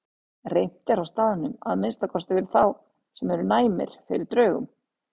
Reimt er á staðnum, að minnsta kosti fyrir þá sem eru næmir fyrir draugum.